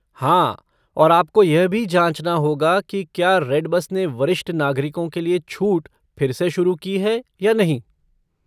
हाँ, और आपको यह भी जाँचना होगा कि क्या रेड बस ने वरिष्ठ नागरिकों के लिए छूट फिर से शुरु की है या नहीं।